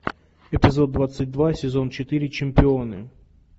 эпизод двадцать два сезон четыре чемпионы